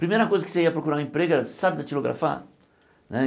Primeira coisa que você ia procurar um emprego era saber datilografar. Né